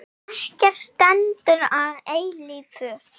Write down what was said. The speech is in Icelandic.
Ekkert stendur að eilífu.